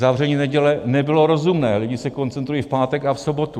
Zavření neděle nebylo rozumné, lidé se koncentrují v pátek a v sobotu.